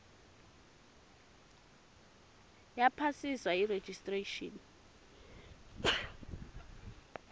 yaphasiswa yi registration